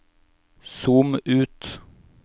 zoom ut